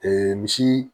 misi